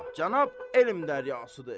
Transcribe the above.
Maşallah, cənab elm dəryasıdır.